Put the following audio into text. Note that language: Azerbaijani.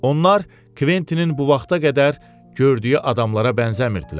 Onlar Kventinin bu vaxta qədər gördüyü adamlara bənzəmirdilər.